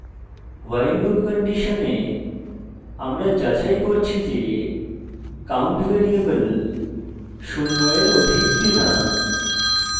while loop condition আমরা যাচাই করছি যে count ভ্যারিয়েবল শূন্য in অধিক কিনা